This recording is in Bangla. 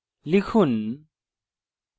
লিখুন